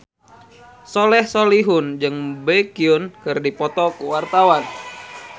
Soleh Solihun jeung Baekhyun keur dipoto ku wartawan